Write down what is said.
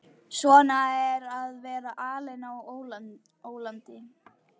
Svona er að vera alinn á ólandi.